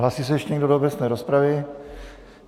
Hlásí se ještě někdo do obecné rozpravy?